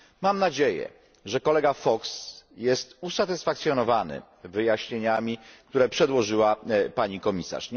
Mam nadzieję, że kolega Fox jest usatysfakcjonowany wyjaśnieniami, które przedłożyła pani Komisarz.